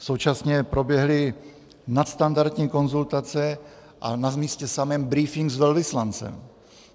Současně proběhly nadstandardní konzultace a na místě samém brífink s velvyslancem.